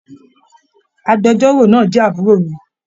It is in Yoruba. Agbẹ̀jọ́ro náà jẹ àbúrò mi.